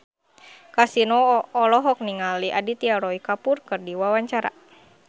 Kasino olohok ningali Aditya Roy Kapoor keur diwawancara